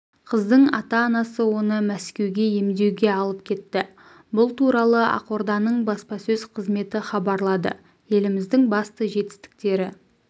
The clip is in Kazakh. қыздың ата-анасы оны мәскеуге емдеуге алып кетті бұл туралы ақорданың баспасөз қызметі хабарлады еліміздің басты жетістіктері